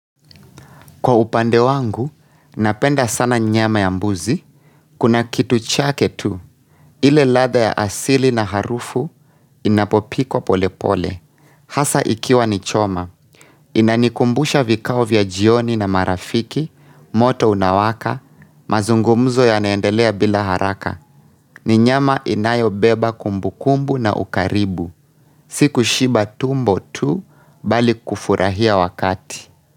Kwa upande wangu, napenda sana nyama ya mbuzi. Kuna kitu chake tu. Ile laadha ya asili na harufu inapopikwa polepole. Hasa ikiwa ni choma. Inanikumbusha vikao vya jioni na marafiki, moto unawaka, mazungumuzo yanaendelea bila haraka. Ni nyama inayobeba kumbukumbu na ukaribu. Siku shiba tumbo tu bali kufurahia wakati.